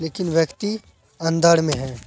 लेकिन व्यक्ति अंदर में हैं।